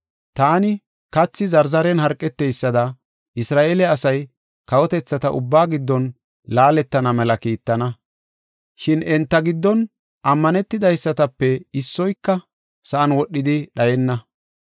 Taani kathi zarzaren harqeteysada Isra7eele asay kawotethata ubbaa giddon laaletana mela kiittana. Shin enta giddon ammanetidaysatape issoyka sa7an wodhidi dhayenna.